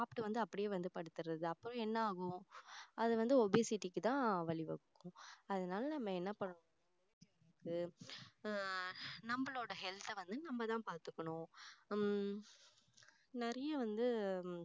சாப்பிட்டு வந்து அப்படியே வந்து படுத்துறது அப்புறம் என்ன ஆகும் அது வந்து obesity க்கு தான் வழி வகுக்கும் அதனால நம்ம என்ன பண்ண ஆஹ் நம்மளோட health அ வந்து நம்ம தான் பாத்துக்கணும் உம் நிறைய வந்து